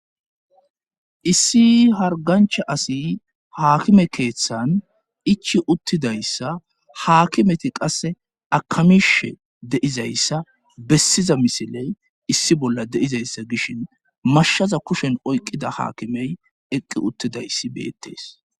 issii hargancha asi haakime keeththan ichi uttidayssa haakimeti qasse akamishe deizayssa bessiza misiley issi bolla deizayssa gishin mashshaza kushen oyqqida haakimey eqqi uttidayssi beettees